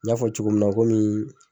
N y'a fɔ cogo min na komii